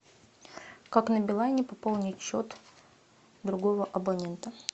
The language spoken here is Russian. как на билайне пополнить счет другого абонента